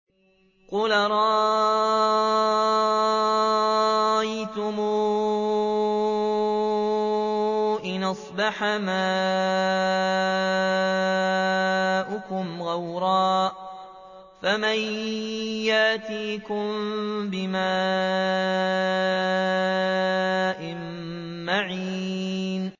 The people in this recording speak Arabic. قُلْ أَرَأَيْتُمْ إِنْ أَصْبَحَ مَاؤُكُمْ غَوْرًا فَمَن يَأْتِيكُم بِمَاءٍ مَّعِينٍ